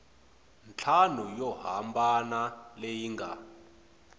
ntlhanu yo hambana leyi nga